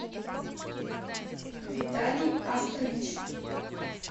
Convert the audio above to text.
виталий астрович